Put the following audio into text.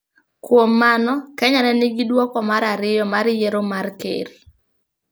Kuom mano, Kenya ne nigi duoko mar ariyo mar yiero mar ker.